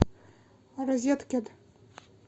розеткед